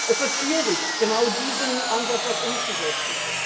Es wird schwierig, genau diesen Ansatz auch umzusetzen.